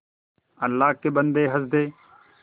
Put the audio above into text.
अल्लाह के बन्दे हंस दे